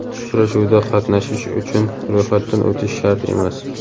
Uchrashuvda qatnashish uchun ro‘yxatdan o‘tish shart emas.